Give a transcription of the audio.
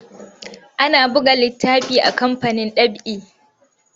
Ana buga littafi a kamfanin ɗab'i.